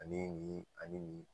Ani nin ani nin